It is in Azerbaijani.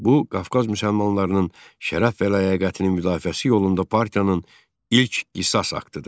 Bu Qafqaz müsəlmanlarının şərəf və ləyaqətinin müdafiəsi yolunda partiyanın ilk qisas aktıdır.